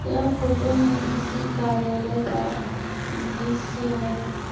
यह फोटो में किसी कार्यालय का दृश्य है।